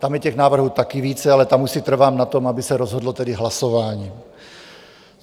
Tam je těch návrhů také více, ale tam už si trvám na tom, aby se rozhodlo tedy hlasováním.